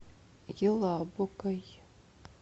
елабугой